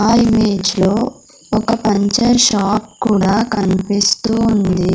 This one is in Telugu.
ఆ ఇమేజ్ లో ఒక పంచర్ షాప్ కూడా కనిపిస్తూ ఉంది.